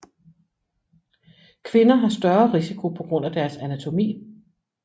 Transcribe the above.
Kvinder har større risiko på grund af deres anatomi